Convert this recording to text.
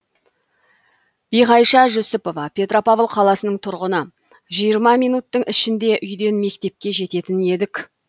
биғайша жүсіпова петропавл қаласының тұрғыны жиырма минуттың ішінде үйден мектепке жететін едік